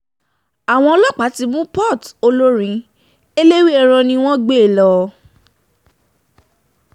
àwọn ọlọ́pàá um ti mú porté olórin eléwéèràn ni wọ́n um gbé e lọ